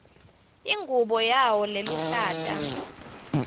ingubo yawo leluhlata